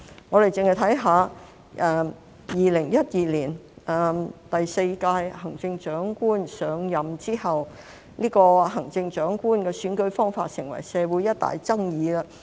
我們單看2012年第四屆行政長官上任後，這個行政長官選舉方法成為社會一大爭議。